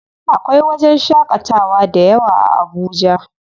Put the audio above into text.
Akwai wajen shaƙatawa dayawa a Abuja.